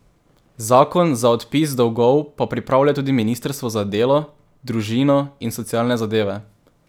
Zakon za odpis dolgov pa pripravlja tudi ministrstvo za delo, družino in socialne zadeve.